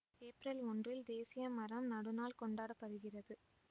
ஏப்பிரல் ஒன்றில் தேசியமரம் நடுநாள் கொண்டாட படுகிறது